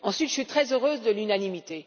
Ensuite, je suis très heureuse de l'unanimité.